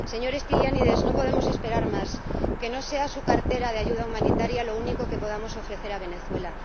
Señor Stylianides, no podemos esperar más, que no sea su cartera de ayuda humanitaria lo único que podamos ofrecer a Venezuela.